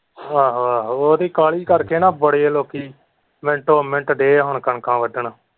ਆਹੋ ਆਹੋ ਉਹਦੀ ਕਾਹਲੀ ਕਰਕੇ ਨਾ ਬੜੇ ਲੋਕੀ ਮਿੰਟੋ ਮਿੰਟ ਰਹੇ ਹੈ ਕਣਕਾਂ ਵੱਡਣ।